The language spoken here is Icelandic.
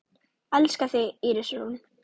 Elska þig, Íris Rún.